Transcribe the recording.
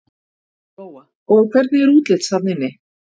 Lóa: Og hvernig er útlits þarna inni?